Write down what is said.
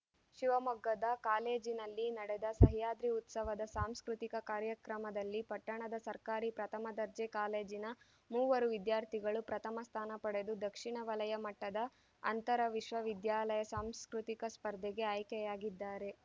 ಶಿವಮೊಗ್ಗದ ಕಾಲೇಜಿನಲ್ಲಿ ನಡೆದ ಸಹ್ಯಾದ್ರಿ ಉತ್ಸವದ ಸಾಂಸ್ಕೃತಿಕ ಕಾರ್ಯಕ್ರಮದಲ್ಲಿ ಪಟ್ಟಣದ ಸರ್ಕಾರಿ ಪ್ರಥಮ ದರ್ಜೆ ಕಾಲೇಜಿನ ಮೂವರು ವಿದ್ಯಾರ್ಥಿಗಳು ಪ್ರಥಮ ಸ್ಥಾನ ಪಡೆದು ದಕ್ಷಿಣ ವಲಯ ಮಟ್ಟದ ಅಂತರ ವಿಶ್ವವಿದ್ಯಾಲಯ ಸಾಂಸ್ಕೃತಿಕ ಸ್ಪರ್ಧೆಗೆ ಆಯ್ಕೆಯಾಗಿದ್ದಾರೆ